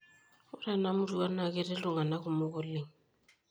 Ore enamurua naa ketii iltung'ana kumok oleng.